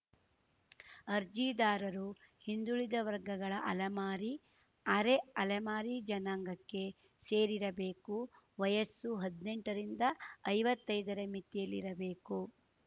ಅರ್ಜಿದಾರರು ಹಿಂದುಳಿದ ವರ್ಗಗಳ ಅಲೆಮಾರಿ ಅರೆಅಲೆಮಾರಿ ಜನಾಂಗಕ್ಕೆ ಸೇರಿರಬೇಕು ವಯಸ್ಸು ಹದ್ನೆಂಟ ರಿಂದ ಐವತ್ತೈದರ ಮಿತಿಯಲ್ಲಿರಬೇಕು